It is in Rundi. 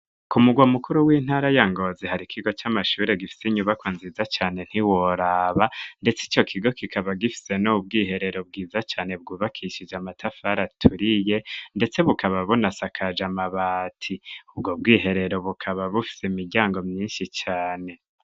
ku mugwa mukuru w'intara ya ngozi hari kigo c'amashuri gifise inyubako nziza cyane ntiworaba ndetse ico kigo kikaba gifise no ubwiherero bwiza cane bwubakishije amatafar turiye ndetse bukaba bunasakaja mabati ubwo bwiherero bukaba bufise imiryango myinshi cane.